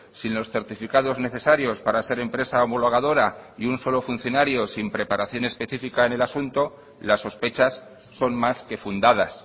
sin los certificados necesarios para ser empresa homologadora y un solo funcionario sin preparación específica en el asunto las sospechas son más que fundadas